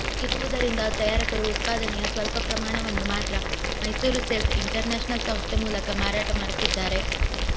ಇರುವುದರಿಂದ ತಯಾರಕರು ಉತ್ಪಾದನೆಯ ಸ್ವಲ್ಪ ಪ್ರಮಾಣವನ್ನು ಮಾತ್ರ ಮೈಸೂರು ಸೇಲ್ಸ್ ಇಂಟರ್ನ್ಯಾಷನಲ್ ಸಂಸ್ಥೆ ಮೂಲಕ ಮಾರಾಟ ಮಾಡುತ್ತಿದ್ದಾರೆ